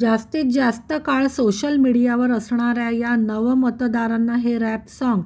जास्तीत जास्त काळ सोशल मीडियावर असणाऱ्या या नवमतदारांना हे रॅप साँग